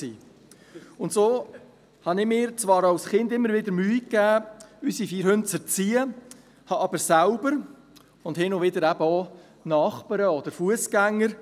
Und so gab ich mir als Kind zwar immer wieder Mühe, unsere vier Hunde zu erziehen, litt aber selbst unter diesem Manko– und hin und wieder auch Nachbarn oder Fussgänger.